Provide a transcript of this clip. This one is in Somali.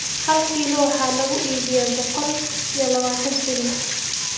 Hal kiiloo waxa lagu iibiyaa boqol iyo labaatan shilin